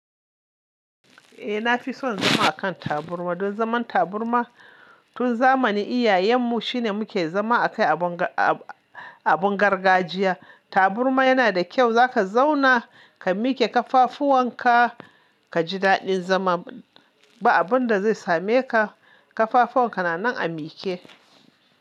Eh, na fi son zama a kan taburma, don zaman taburma, tun zamanin iyayenmu, shine muke zama a kai abin ga-a-a-abin gargajiya. Taburma yana da kyau Zaka zauna, ka mike kafafuwan ka, ka ji daɗin zama, ba abin da zai same ka, Ƙafafuwan ka na nan a mike.